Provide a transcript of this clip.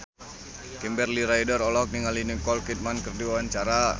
Kimberly Ryder olohok ningali Nicole Kidman keur diwawancara